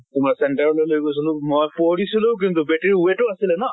তোমাৰ center লৈ লৈ গৈছিলো। মই পৰিছিলো কিন্তু, battery weight ও আছিলে ন।